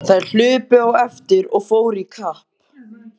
Þær hlupu á eftir og fóru í kapp.